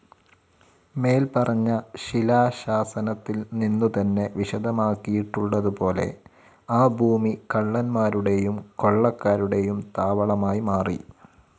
മേൽപ്പറഞ്ഞ ശിലാശാസനത്തിൽ നിന്നു തന്നെ വിശദമാക്കിയിട്ടുള്ളത് പോലെ ആ ഭൂമി കള്ളന്മാരുടെയും കൊള്ളക്കാരുടെയും താവളമായി മാറി.